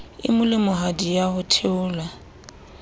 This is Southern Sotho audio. e molemohadi ya ho theola